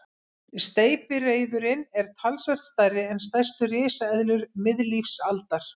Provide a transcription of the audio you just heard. Steypireyðurin er talsvert stærri en stærstu risaeðlur miðlífsaldar.